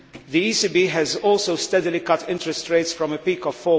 The ECB has also steadily cut interest rates from a peak of